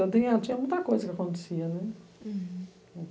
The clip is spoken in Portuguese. Então, tinha muita coisa que acontecia, né? Uhum